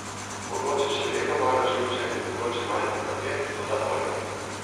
Mogoče še vedno malo živčen, mogoče malce zapet, toda bolje.